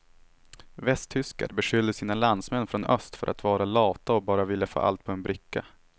Västtyskar beskyller sina landsmän från öst för att vara lata och bara vilja få allt på en bricka.